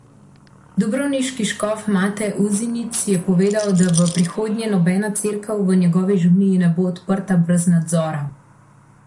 Dubrovniški škof Mate Uzinić je povedal, da v prihodnje nobena cerkev v njegovi škofiji ne bo odprta brez nadzora.